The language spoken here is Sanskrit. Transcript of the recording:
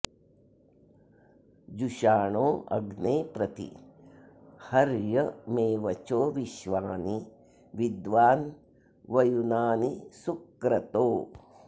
जुषाणो अग्ने प्रति हर्य मे वचो विश्वानि विद्वान्वयुनानि सुक्रतो